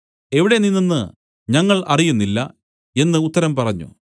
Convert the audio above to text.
എവിടെ നിന്നെന്ന് ഞങ്ങൾ അറിയുന്നില്ല എന്നു ഉത്തരം പറഞ്ഞു